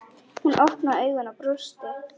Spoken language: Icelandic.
Hún opnaði augun og brosti.